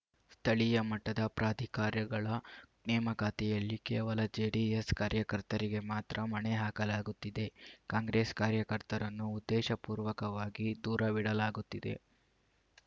ಸ್ಥಳೀಯ ಮಟ್ಟದ ಪ್ರಾಧಿಕಾರ್ಯಗಳ ನೇಮಕಾತಿಯಲ್ಲಿ ಕೇವಲ ಜೆಡಿಎಸ್‌ ಕಾರ್ಯಕರ್ತರಿಗೆ ಮಾತ್ರ ಮಣೆ ಹಾಕಲಾಗುತ್ತಿದೆ ಕಾಂಗ್ರೆಸ್‌ ಕಾರ್ಯಕರ್ತರನ್ನು ಉದ್ದೇಶಪೂರ್ವಕವಾಗಿ ದೂರವಿಡಲಾಗುತ್ತಿದೆ